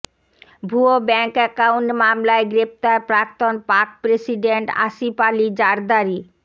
ভুয়ো bank account মামলায় গ্রেফতার প্রাক্তন পাক প্রেসিডেন্ট আসিফ আলি জারদারি